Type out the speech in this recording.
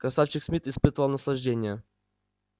красавчик смит испытывал наслаждение